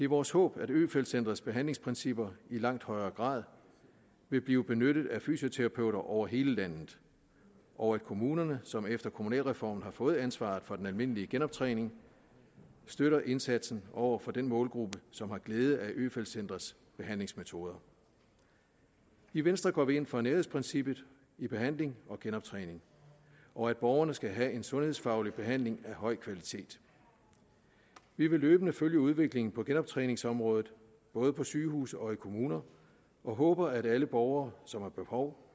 vores håb at øfeldt centrets behandlingsprincipper i langt højere grad vil blive benyttet af fysioterapeuter over hele landet og at kommunerne som efter kommunalreformen har fået ansvaret for den almindelige genoptræning støtter indsatsen over for den målgruppe som har glæde af øfeldt centrets behandlingsmetoder i venstre går vi ind for nærhedsprincippet i behandling og genoptræning og at borgerne skal have en sundhedsfaglig behandling af høj kvalitet vi vil løbende følge udviklingen på genoptræningsområdet både på sygehuse og i kommuner og håber at alle borgere som har behov